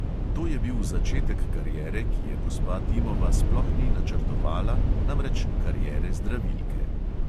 To je bil začetek kariere, ki je gospa dimova sploh ni načrtovala, namreč kariere zdravilke.